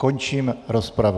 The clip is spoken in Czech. Končím rozpravu.